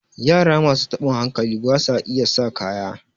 yara masu tabin hankali ba sa iya sa kaya